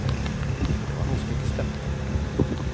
Det var noe som ikke stemte.